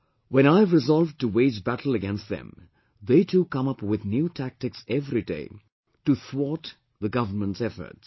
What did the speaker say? When I have resolved to wage battle against them, they too come up with new tactics everyday to thwart the government's efforts